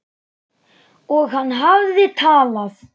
Og hann hafði talað.